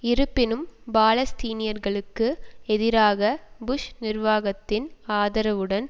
இருப்பினும் பாலஸ்தீனியர்களுக்கு எதிராக புஷ் நிர்வாகத்தின் ஆதரவுடன்